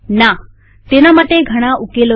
નાતેના માટે ઘણા ઉકેલો છે